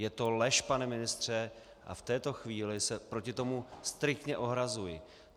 Je to lež, pane ministře, a v této chvíli se proti tomu striktně ohrazuji.